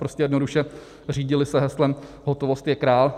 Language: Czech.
Prostě jednoduše se řídili heslem "hotovost je král".